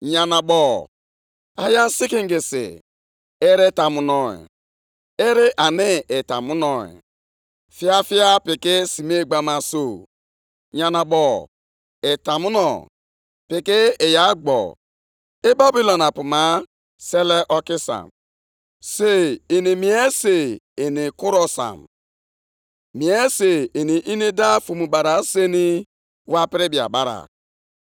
Onyenwe anyị, Ọ bụ na ị dịghị site mgbe niile ebighị ebi? Chineke m, na Onye Nsọ m, Ị gaghị anwụ. Gị, Onyenwe anyị, họpụtara ha maka ikpe ikpe. Gị, oke nkume m, emeela ka ha bụrụ ndị ga-enweta ahụhụ.